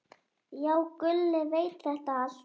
Já, Gulli veit þetta allt.